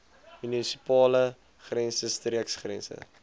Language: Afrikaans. munisipale grense streekgrense